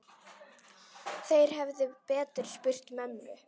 Þeir hefðu betur spurt mömmu.